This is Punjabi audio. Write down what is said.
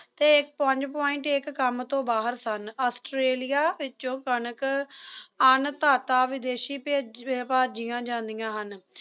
ਤੇ ਪੰਜ point ਇੱਕ ਕੰਮ ਤੋਂ ਬਾਹਰ ਸਨ ਆਸਟ੍ਰੇਲੀਆ ਵਿੱਚੋਂ ਕਾਨਾਕਰ ਹ ਅੰਨਧਾਤਾ ਵਿਦੇਸ਼ੀ ਭੇਜ ਅਹ ਭਾਜੀਆਂ ਜਾਂਦੀਆਂ ਹਨ